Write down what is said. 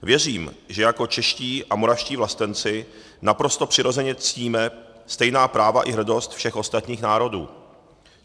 Věřím, že jako čeští a moravští vlastenci naprosto přirozeně ctíme stejná práva i hrdost všech ostatních národů.